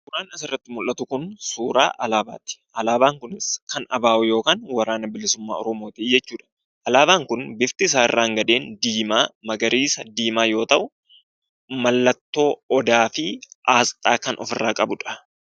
Waanti asirratti mul'atu kun suuraa alaabaati. Alaabaan kun kan ABO yookaan waraana bilisummaa oromooti jechuudha. Alaabaan kun bifti isaa irraan gadeen diimaa, magariisa, diimaa yoo ta'u, mallattoo odaafi aasxaa kan ofirraa qabudha.